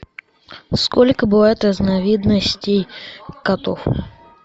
сколько бывает разновидностей котов